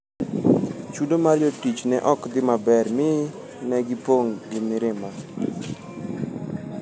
Chudo mar jotich ne ok dhi maber mi ne gipong' gi mirima.